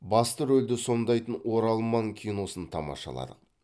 басты рөлді сомдайтын оралман киносын тамашаладық